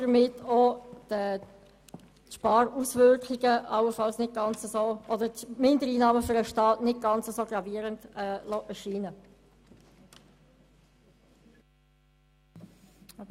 Damit könnte man die Mindereinnahmen für den Staat nicht ganz so gravierend erscheinen lassen.